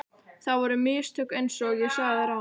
Það voru mistök einsog ég sagði þér áðan.